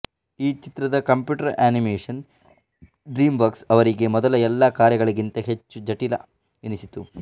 ಈ ಚಿತ್ರದ computer animation DreamWorks ಅವರಿಗೆ ಮೊದಲ ಎಲ್ಲ ಕಾರ್ಯಗಳಿಗಿಂತ ಹೆಚ್ಚು ಜಟಿಲ ಎನಿಸಿತು